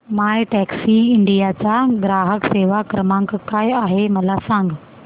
My Taxi India चा ग्राहक सेवा क्रमांक काय आहे मला सांग